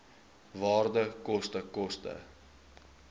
waarde koste koste